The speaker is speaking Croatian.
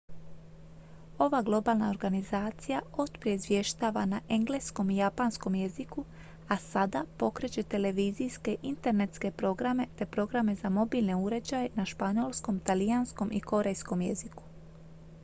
ova globalna organizacija otprije izvještava na engleskom i japanskom jeziku a sada pokreće televizijske internetske programe te programe za mobilne uređaje na španjolskom talijanskom i korejskom jeziku